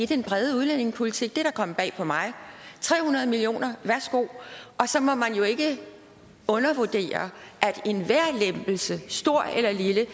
den brede udlændingepolitik det er da kommet bag på mig tre hundrede million kr værsgo og så må man jo ikke undervurdere at enhver lempelse stor eller lille